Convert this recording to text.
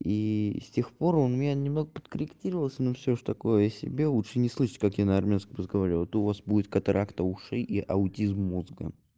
и с тех пор у меня немного подкорректировалось но всё же такое себе лучше не слышать как я на армянском разговариваю а то у вас будет катаракта ушей и аутизм мозга